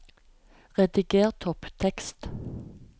Rediger topptekst